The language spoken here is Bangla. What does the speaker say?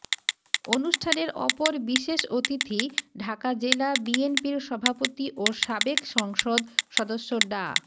অনুষ্ঠানের অপর বিশেষ অতিথি ঢাকা জেলা বিএনপির সভাপতি ও সাবেক সংসদ সদস্য ডা